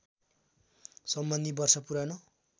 सम्बन्धी वर्ष पुरानो